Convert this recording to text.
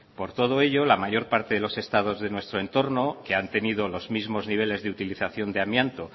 por todo ello la mayor parte de los estados de nuestro entorno que han tenido los mismo niveles de utilización de amianto